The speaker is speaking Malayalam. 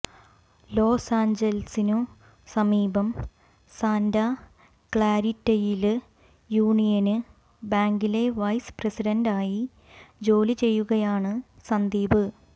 ലോസാഞ്ചത്സിനു സമീപം സാന്റാ ക്ലാരിറ്റയില് യൂണിയന് ബാങ്കില് വൈസ് പ്രസിഡന്റായി ജോലി ചെയ്യുകയാണ് സന്ദീപ്